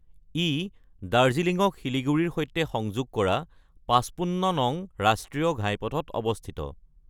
ই দাৰ্জিলিঙক শিলিগুৰিৰ সৈতে সংযোগ কৰা ৫৫ নং ৰাষ্ট্ৰীয় ঘাইপথত অৱস্থিত।